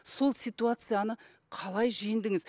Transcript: сол ситуацияны қалай жеңдіңіз